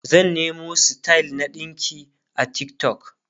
zan Nemo style na ɗinki a TikTok